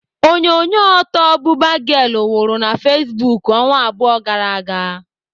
Onyonyo ọtọ 'Buba girl' wuru na Facebook ọnwa abụọ gara aga.